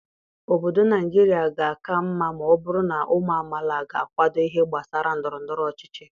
Obodo Naijiria ga-aka mma ma ọ bụrụ na ụmụ amaala ga-akwado ihe gbasara ndọrọ ndọrọ ọchịchị.